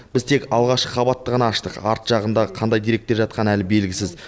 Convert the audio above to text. біз тек алғашқы қабатты ғана аштық арт жағында қандай деректер жатқаны әлі белгісіз